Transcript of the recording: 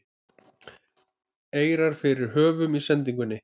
eirar fyrir höfum í sendingunni